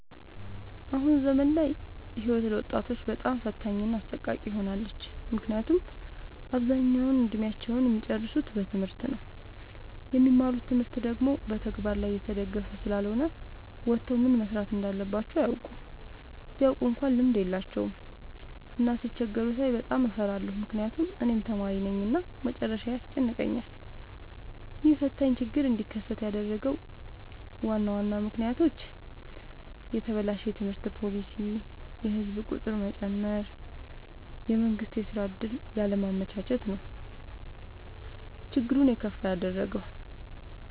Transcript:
አሁን ዘመን ላይ ህይወት ለወጣቶች በጣም ፈታኝ እና አሰቃቂ ሆናለች። ምክንያቱም አብዛኛውን እድሜአቸውን እሚጨርሱት በትምህርት ነው። የሚማሩት ትምህርት ደግሞ በተግበር ላይ የተደገፈ ስላልሆነ ወተው ምን መስራት እንዳለባቸው አያውቁም። ቢያውቁ እንኳን ልምድ የላቸውም። እና ሲቸገሩ ሳይ በጣም እፈራለሁ ምክንያቱም እኔም ተማሪነኝ እና መጨረሻዬ ያስጨንቀኛል። ይህ ፈታኝ ችግር እንዲከሰት ያደረጉት ዋና ዋና ምክንያቶች፦ የተበላሸ የትምህርት ፓሊሲ፣ የህዝብ ቁጥር መጨመር፣ የመንግስት የስራ ዕድል ያለማመቻቸት ነው። ችግሩን የከፋ ያደረገው።